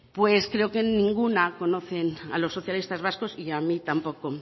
pues creo que ninguna conocen a los socialistas vascos y a mí tampoco